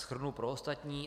Shrnu pro ostatní.